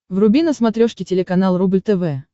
вруби на смотрешке телеканал рубль тв